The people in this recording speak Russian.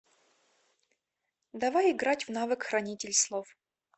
давай играть в навык хранитель слов